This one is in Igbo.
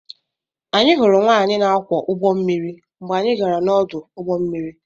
Anyị hụrụ nwaanyị na-akwọ ụgbọ mmiri mgbe anyị gara n'ọdụ ụgbọ mmiri.